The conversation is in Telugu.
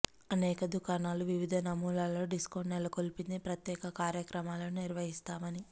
అనేక దుకాణాలు వివిధ నమూనాలలో డిస్కౌంట్ నెలకొల్పింది ప్రత్యేక కార్యక్రమాలను నిర్వహిస్తామని